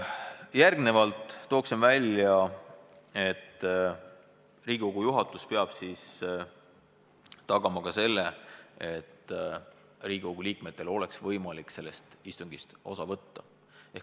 Nüüd tooksin välja, et Riigikogu juhatus peab siis tagama, et Riigikogu liikmetel oleks võimalik sellest istungist osa võtta.